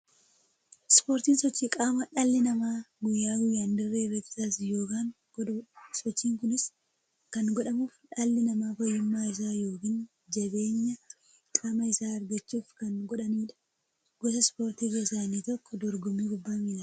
Ispoortiin sochii qaamaa dhalli namaa guyyaa guyyaan dirree irratti taasisu yookiin godhuudha. Sochiin kunis kan godhamuuf, dhalli namaa fayyummaa isaa yookiin jabeenya qaama isaa argachuuf kan godhaniidha. Gosa ispoortii keessaa inni tokko dorgommii kubbaa milaati.